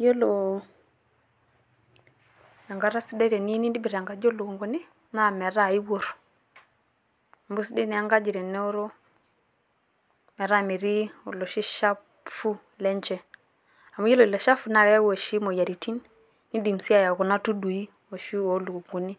Yiolo enkata sidai teniyieu nintobirr enkaji oo lukunguni naa metaa ikurr. Amu eisidai naa enkaji teneoro metaa metii oloshi shafu lenye. Amu yiolo ilo shafu naa keyau oshi moyiaritin, nidim sii ayau kuna tudui oshi oo lukunguni.